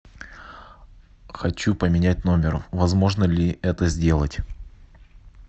хочу поменять номер возможно ли это сделать